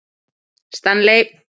Stanley